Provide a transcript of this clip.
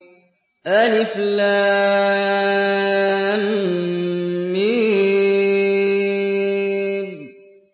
الم